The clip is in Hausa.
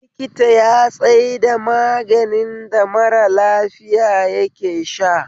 Likita ya tsaida maganin da mara lafiya yake sha